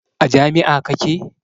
A jami'a kake?